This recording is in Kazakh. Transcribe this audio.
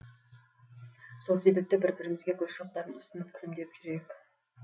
сол себепті бір бірімізге гүл шоқтарын ұсынып күлімдеп жүрейік